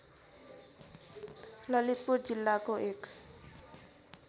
ललितपुर जिल्लाको एक